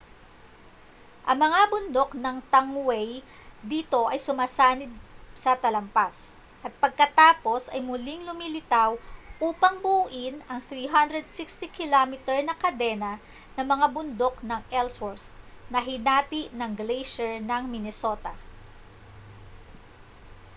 ang mga bundok ng tangway dito ay sumasanib sa talampas at pagkatapos ay muling lumilitaw upang buuin ang 360 km na kadena ng mga bundok ng ellsworth na hinati ng gleysyer ng minnesota